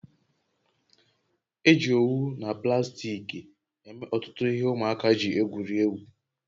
Eji owu na plastiki eme ọtụtụ ihe ụmụaka ji egwuri egwu